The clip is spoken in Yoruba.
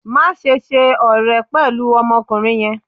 maṣe ṣe ọrẹ pẹlu ọmọkunrin yẹn!